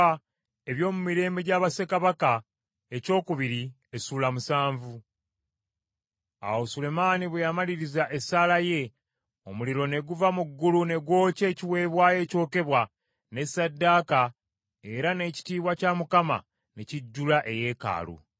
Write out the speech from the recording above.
Awo Sulemaani bwe yamaliriza esaala ye, omuliro ne guva mu ggulu ne gwokya ekiweebwayo ekyokebwa ne ssaddaaka era n’ekitiibwa kya Mukama ne kijjula eyeekaalu.